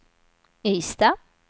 Ystad